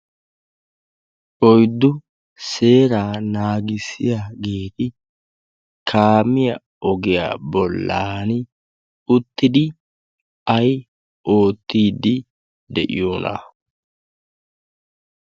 oiddu seeraa naagissiya geeti kaamiya ogiyaa bollan uttidi ay oottiiddi de'iyoona?